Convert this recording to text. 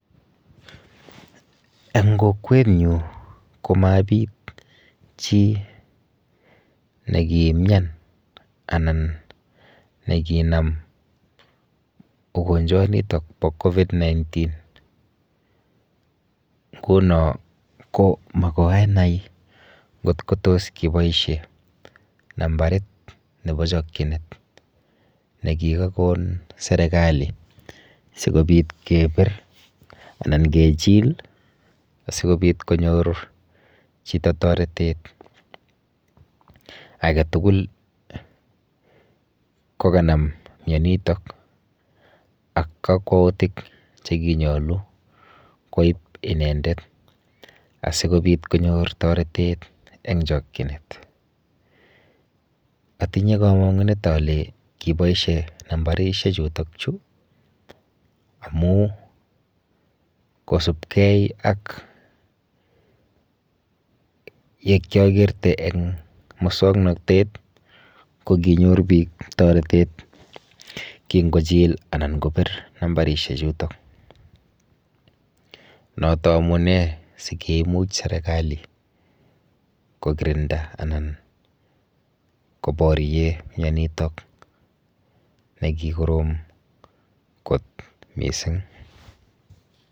Eng kokwenyu ko mabit chi nekiimian anan nekinam ugonjwanitok po Covid-19. Nguno ko makoanai nkot ko tos kiboishe nambarit nepo chokchinet nekikakon serikali sikobit kepir anan kechil asikobit konyor chito toretet aketugul kokanam mieniitok ak kakwoutik chekinyolu koip inendet asikobit konyor toretet eng chokchinet. Atinye kamang'unet ale kiboishe nambarishechutochu amu kosubkei ak yekyakerte eng musoknotet ko kinyor biik toretet kingochil anan kopir nambarishechutok. Noto amune si kiimuch serikali kokirinda anan koborie mienitok nekikorom kot mising.